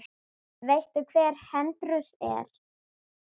Veistu hver Hercules er?